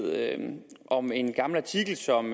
om en gammel artikel som